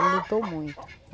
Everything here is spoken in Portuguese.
Ele lutou muito.